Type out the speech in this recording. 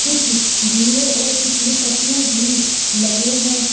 कुछ झूले और कुछ रिपटने भी लगे हैं।